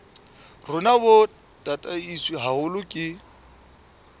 rona bo tataiswe haholo ke